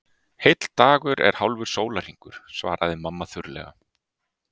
Heill dagur er hálfur sólarhringur, svaraði mamma þurrlega.